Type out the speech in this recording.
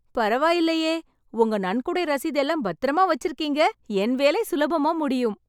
பரவாயில்லையே உங்க நன்கொடை ரசீது எல்லாம் பத்திரமா வச்சிருக்கீங்க. என் வேலை சுலபமா முடியும்.